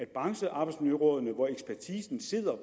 branchearbejdsmiljørådene på